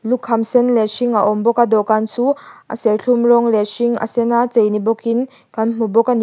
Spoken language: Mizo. lukham sen leh hring a awm bawka dawhkan chu a serthlum rawng leh hring a sena chei ni bawkin kan hmuh bawk ani.